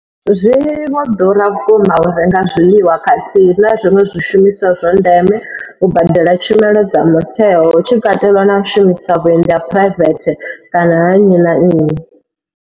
Zwi vho ḓura vhukuma u renga zwiḽiwa khathihi na zwiṅwe zwishumiswa zwa ndeme, u badela tshumelo dza mutheo hu tshi katelwa na u shumisa vhuendi ha phuraivethe kana ha nnyi na nnyi.